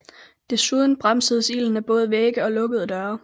Desuden bremsedes ilden af både vægge og lukkede døre